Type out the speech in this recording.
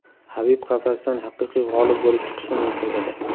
Habib qafasdan haqiqiy g‘olib bo‘lib chiqishi mumkin edi.